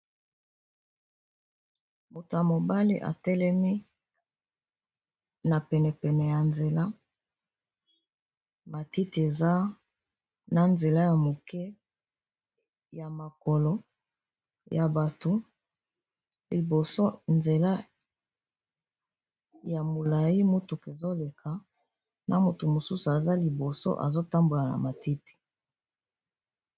moto ya mobale atelemi na penepene ya nzela matiti eza na nzela ya moke ya makolo ya bato liboso nzela ya molai motuk ezoleka na motu mosusu aza liboso azotambola na matiti